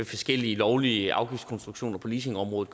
forskellige lovlige afgiftskonstruktioner på leasingområdet